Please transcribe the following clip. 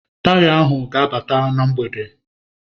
Taya ahu ga-abata na mgbede.